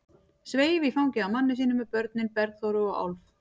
Sveif í fangið á manni sínum með börnin, Bergþóru og Álf.